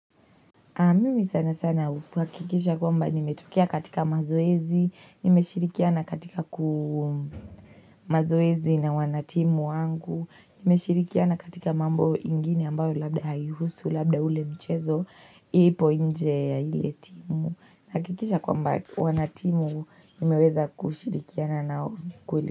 Mimi sana sana huhakikisha kwamba nimetokea katika mazoezi, nimeshirikiana katika mazoezi na wanatimu wangu, nimeshirikiana katika mambo ingine ambayo labda haihusu labda ule mchezo ipo nje ya ile timu. Hakikisha kwamba wanatimu nimeweza kushirikiana nao kuli.